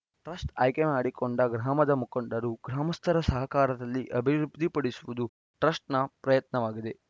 trust ಆಯ್ಕೆ ಮಾಡಿಕೊಂಡ ಗ್ರಾಮದ ಮುಖಂಡರು ಗ್ರಾಮಸ್ಥರ ಸಹಕಾರದಲ್ಲಿ ಅಭಿವೃದ್ಧಿಪಡಿಸುವುದು ಟ್ರಸ್ಟ್‌ ಪ್ರಯತ್ನವಾಗಿದೆ